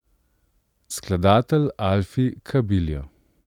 Skladatelj Alfi Kabiljo.